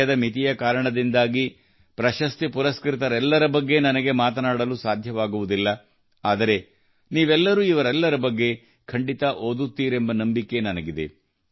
ಸಮಯದ ಮಿತಿಯ ಕಾರಣದಿಂದಾಗಿ ಪ್ರಶಸ್ತಿ ಪುರಸ್ಕೃತರೆಲ್ಲರ ಬಗ್ಗೆ ನನಗೆ ಮಾತನಾಡಲು ಸಾಧ್ಯವಾಗುವುದಿಲ್ಲ ಆದರೆ ನೀವೆಲ್ಲರೂ ಇವರೆಲ್ಲರ ಬಗ್ಗೆ ಖಂಡಿತಾ ಓದುತ್ತೀರೆಂಬ ನಂಬಿಕೆ ನನಗಿದೆ